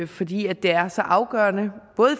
fordi det er så afgørende i